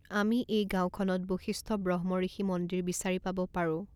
আমি এই গাঁওখনত বশিষ্ঠ ব্ৰহ্মঋষি মন্দিৰ বিচাৰি পাব পাৰোঁ।